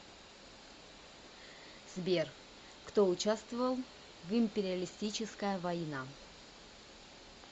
сбер кто участвовал в империалистическая война